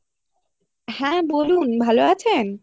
হ্যাঁ বলুন ভালো আছেন?